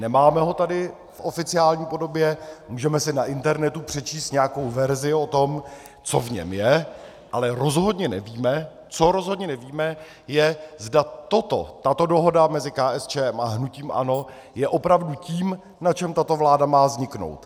Nemáme ho tady v oficiální podobě, můžeme si na internetu přečíst nějakou verzi o tom, co v něm je, ale rozhodně nevíme, co rozhodně nevíme, je, zda toto, tato dohoda mezi KSČM a hnutím ANO, je opravdu tím, na čem tato vláda má vzniknout.